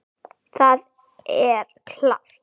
Það er klárt.